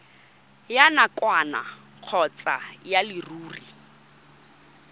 ya nakwana kgotsa ya leruri